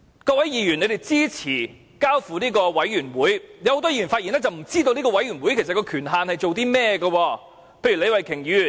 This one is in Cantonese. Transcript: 多位議員支持把事情交付調查委員會，但很多議員的發言卻顯示他們不知道委員會的權限為何，例如李慧琼議員。